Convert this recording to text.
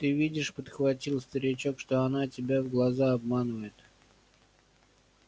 ты видишь подхватил старичок что она тебя в глаза обманывает